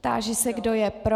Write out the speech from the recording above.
Táži se, kdo je pro.